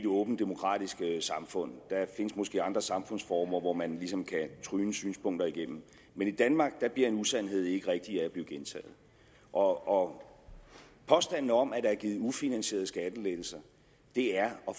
åbent demokratisk samfund der findes måske andre samfundsformer hvor man ligesom kan tromle synspunkter igennem men i danmark bliver en usandhed ikke rigtig af at blive gentaget og påstanden om at der er blevet givet ufinansierede skattelettelser er og